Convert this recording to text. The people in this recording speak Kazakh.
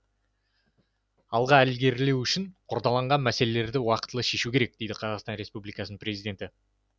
алға ілгерілеу үшін қордаланған мәселелерді уақытылы шешу керек деді қазақстан республикасының президенті